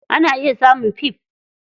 Ana iya samun fif.